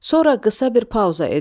Sonra qısa bir pauza edilir.